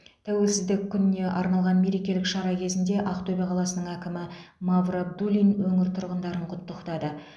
тәуелсіздік күніне арналған мерекелік шара кезінде ақтөбе қаласының әкімі мавр абдуллин өңір тұрғындарын құттықтады